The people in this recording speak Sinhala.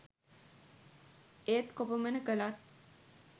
ඒත් කොපමණ කළත්